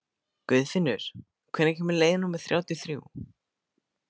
Guðfinnur, hvenær kemur leið númer þrjátíu og þrjú?